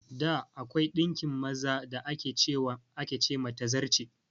Da, akwai ɗinkin maza da ake ce ma "Tazarce".